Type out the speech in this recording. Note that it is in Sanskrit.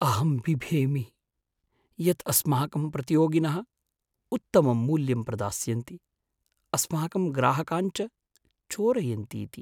अहं बिभेमि यत् अस्माकं प्रतियोगिनः उत्तमं मूल्यं प्रदास्यन्ति, अस्माकं ग्राहकान् च चोरयन्तीति।